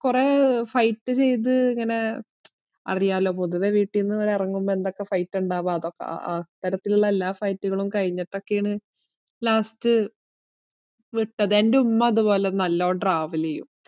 കൊറേ fight ചെയ്ത് ഇങ്ങനെ അറിയാല്ലോ, പൊതുവേ വീട്ടീന്ന് ഇവര് എറങ്ങുമ്പോ എന്തൊക്കെ fight ആ ഇണ്ടാവാ അതൊക്കെ അ~ അത്തരത്തിലിള്ള എല്ലാ fight കളും കഴിഞ്ഞിട്ടൊക്കെയാണ് last വിട്ടത്. എന്റുമ്മ ഇതുപോലെ നല്ലോണം travel എയ്യും.